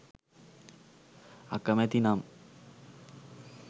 අකමැති නම්